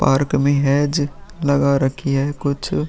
Park में hedge लगा रखी है कुछ।